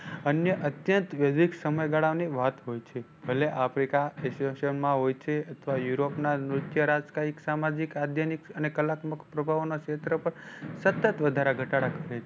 અન્ય અત્યંત સમયગાળા ની વાત હોય છે. ભલે Africa હોય છે અથવા Europe ના આધ્યાનીક અને કલાત્મક પ્રભાવો ના ક્ષેત્ર પર સતત વધારા ઘટાટા કરે છે.